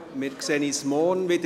Wir sehen uns morgen wieder.